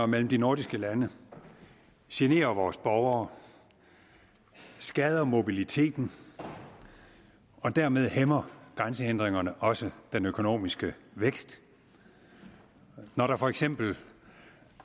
mellem de nordiske lande generer vores borgere skader mobiliteten og dermed hæmmer grænsehindringerne også den økonomiske vækst når der for eksempel